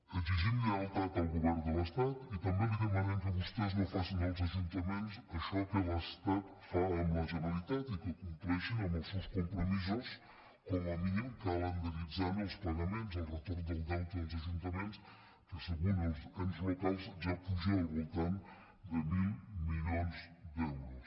exigim lleialtat al govern de l’estat i també li demanem que vostès no facin als ajuntaments això que l’estat fa amb la generalitat i que compleixin amb els seus compromisos com a mínim calendaritzant els pagaments el retorn del deute als ajuntaments que segons els ens locals ja puja al voltant de mil milions d’euros